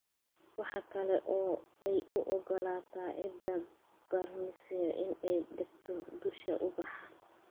Waxa kale oo ay u ogolaataa ciidda bacrimisay in ay degto dusha ubaxa.